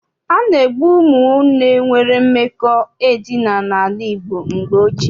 A na-egbu ụmụnne nwere mmekọ edina n'ala Igbo mgbe ochie.